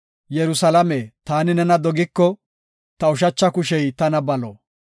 Yerusalaame taani nena dogiko, ta ushacha kushey tana balo.